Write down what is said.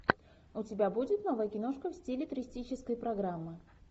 у тебя будет новая киношка в стиле туристической программы